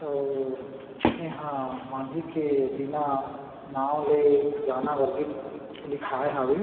और यहाँ माझी के बिना नाव ले जाना वर्जित लिखाय हावे।